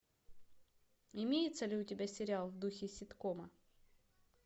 имеется ли у тебя сериал в духе ситкома